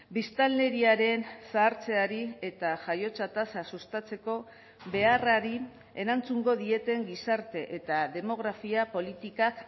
biztanleriaren zahartzeari eta jaiotza tasa sustatzeko beharrari erantzungo dieten gizarte eta demografia politikak